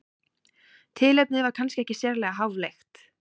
Tilefnið var kannski ekki sérlega háfleygt.